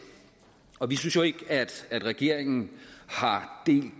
og vi synes ikke at regeringen har delt